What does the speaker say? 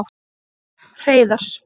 Hreiðar